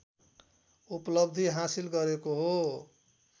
उपलब्धि हासिल गरेको हो